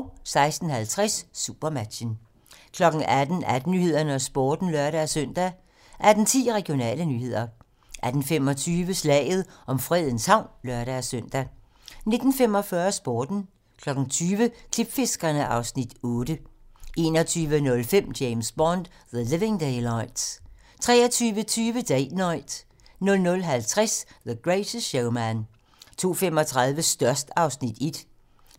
16:50: Supermatchen 18:00: 18 Nyhederne og Sporten (lør-søn) 18:10: Regionale nyheder 18:25: Slaget om Fredens Havn (lør-søn) 19:45: Sporten 20:00: Klipfiskerne (Afs. 8) 21:05: James Bond: The Living Daylights 23:20: Date Night 00:50: The Greatest Showman 02:35: Størst (Afs. 1)